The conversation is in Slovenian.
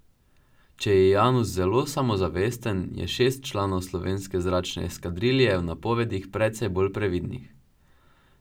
Če je Janus zelo samozavesten, je šest članov slovenske zračne eskadrilje v napovedih precej bolj previdnih.